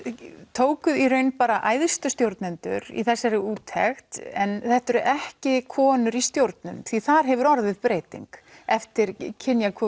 tókuð í raun bara æðstu stjórnendur í þessari úttekt en þetta eru ekki konur í stjórnun því þar hefur orðið breyting eftir